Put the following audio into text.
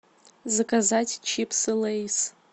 заказать чипсы лейс